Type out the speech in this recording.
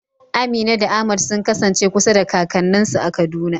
Amina da Ahmad sun kasance kusa da kakanninsu a Kaduna.